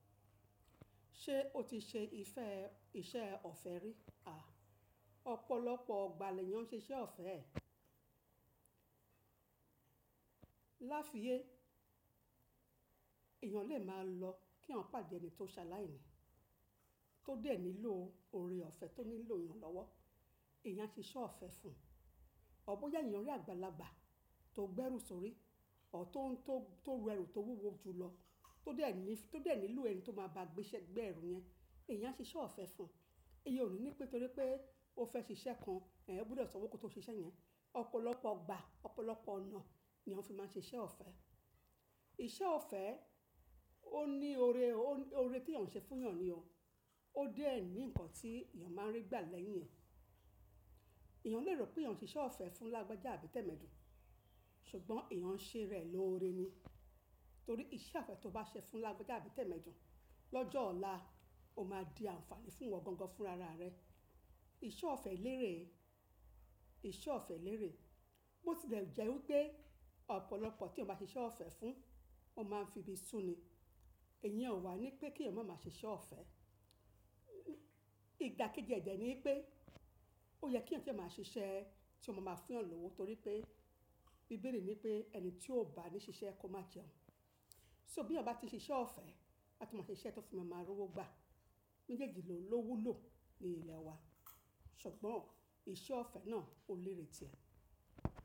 Ṣé o ti ṣe ifẹ́ iṣẹ́ ọ̀fẹ́ rí? Ọ̀pọ̀lọpọ̀ ọ̀gbà lẹ́yan ṣe iṣẹ́ ọ̀fẹ́. Láàfíyẹ̀, èèyàn lè máa lọ kí èèyàn pàdé ẹni tó ṣa láìní, tó dé nílò oore ọ̀fẹ́, tó nílò iranlọ́wọ́, èèyàn á ṣe iṣẹ́ ọ̀fẹ́ fún un. Ọ̀ bọ̀ya eéyàn rí àgbàlagbà tó gbẹ́ ẹrú sórí, ọ̀ tọ̀ tó ń rẹrù tó wúwo ju lọ, tó dé ẹ nílò ẹni tó máa bá gbé ẹrú yẹn, èèyàn ṣe iṣẹ́ ọ̀fẹ́ fún un. Ìyen ò ní pé torí pé o fẹ́ ṣe iṣẹ́ kan, ẹ ò gbúdọ̀ sanwó kó tó ṣe iṣẹ́ yẹn. Ọ̀pọ̀lọpọ̀ ọ̀gbà, ọ̀pọ̀lọpọ̀ ọ̀nà ni èèyàn fi máa ṣe iṣẹ́ ọ̀fẹ́. Iṣẹ́ ọ̀fẹ́ ó ní oore, oore tí èèyàn ṣe fún èèyàn ni o. Ó dé ẹ ní ǹkan tí èèyàn máa ń rí gbà lẹ́yìn ẹ̀. Ẹ̀yàn lè rò pé èèyàn ń ṣe iṣẹ́ ọ̀fẹ́ fún Lágbájá àbì Tẹ̀mẹ́dùn, ṣùgbọ́n èèyàn ń ṣe rẹ̀ lóore ni. Torí iṣẹ́ ọ̀fẹ́ tó bá ṣe fún Lágbájá àbì Tẹ̀mẹ́dùn lọ́jọ́ ọ̀la, ó máa di àǹfààní fún ìwọ gangan fún rara rẹ. Iṣẹ́ ọ̀fẹ́ lérè, iṣẹ́ ọ̀fẹ́ lérè. Mo ti lè jẹ́ wípé ọ̀pọ̀lọpọ̀ tí eèyan bá ṣe iṣẹ́ ọ̀fẹ́ fún, wọ́n máa ń fi ibi sùn ni. Ìyẹ̀n ó wà ní pé kí èèyàn máa má ṣe iṣẹ́ ọ̀fẹ́. Igba ki gégẹ ní pé ó yẹ kí èèyàn dẹ́ máa ṣiṣẹ́ tí ó máa má fún yàn lówo torí pé bíbélì ní pé ẹni tí ó bá ní ṣiṣẹ́ kò má jẹun. So bí eèyán bà ti ṣe iṣẹ́ ọ̀fẹ́, a tú máa ṣe iṣẹ́ tí ó fi máa máa rówó gbà. Méjèèjì lò lọ́wúlò ní ilẹ̀ wa, ṣùgbọ́n iṣẹ́ ọ̀fẹ́ náà ó lérè ti ẹ̀.